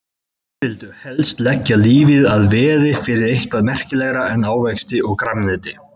Menn vildu helst leggja lífið að veði fyrir eitthvað merkilegra en ávexti og grænmeti.